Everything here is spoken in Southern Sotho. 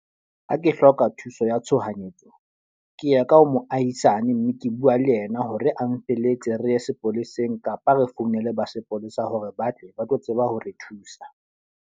Ha ke hloka thuso ya tshohanyetso. Ke ye ka ho moahisane mme ke bua le yena hore a nfelletse re ye sepoleseng. Kapa re founele ba sepolesa hore ba tle ba tlo tseba ho re thusa.